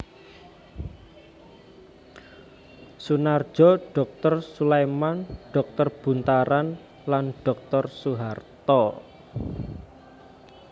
Soenarjo Dr Soleiman Dr Buntaran lan Dr Soeharto